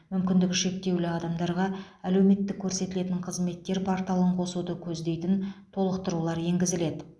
мүмкіндігі шектеулі адамдарға әлеуметтік көрсетілетін қызметтер порталын қосуды көздейтін толықтырулар енгізіледі